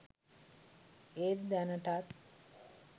ඒත් දැනටත්